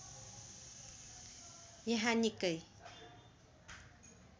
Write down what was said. यहाँ निकै